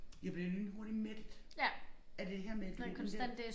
Jeg bliver lynhurtigt mættet af det her med den der